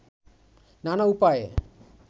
নানা উপায়ে